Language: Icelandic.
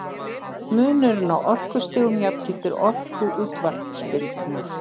munurinn á orkustigum jafngildir orku útvarpsbylgna